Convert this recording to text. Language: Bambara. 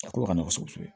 A ko ka nɔgɔn kosɛbɛ